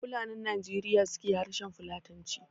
Fulanin Najeriya su ke harshen Fulatanci